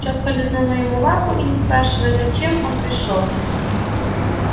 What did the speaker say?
тётка лизнула ему лапу и не спрашивая зачем он пришёл